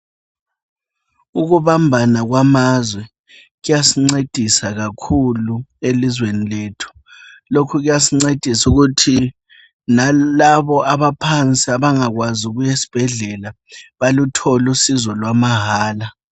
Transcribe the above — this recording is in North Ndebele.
Ukubambana kwamazwe kuyasincedisa kakhulu elizweni lethu. Lokhu kuyasincedisa ukuthi nalabo abaphansi abangakwazi ukuyesibhedlela baluthole usizo lwamahala.